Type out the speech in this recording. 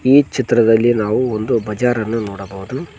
ಈ ಚಿತ್ರದಲ್ಲಿ ನಾವು ಒಂದು ಬಜಾರನ್ನು ನೋಡಬೋದು.